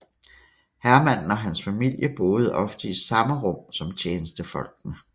Herremanden og hans familie boede ofte i samme rum som tjenestefolkene